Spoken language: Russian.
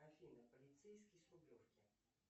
афина полицейский с рублевки